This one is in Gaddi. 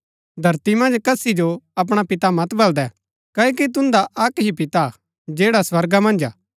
धरती मन्ज कसी जो अपणा पिता मत बलदै क्ओकि तुन्दा अक्क ही पिता हा जैडा स्वर्गा मन्ज हा